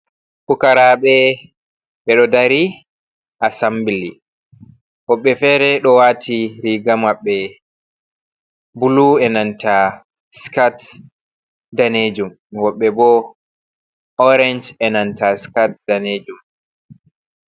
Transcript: Pukaraaɓe ɓe ɗo dari assambili, woɓɓe fere ɗo waati riiga maɓɓe buluu e nanta skat daneejum, woɓɓe bo oorenj e nanta skat daneejum.